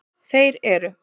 Þeir eru: